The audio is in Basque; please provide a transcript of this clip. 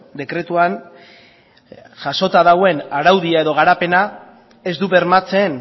dekretuan jasota dagoen araudia edo garapena ez du bermatzen